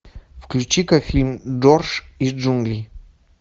включи ка фильм джордж из джунглей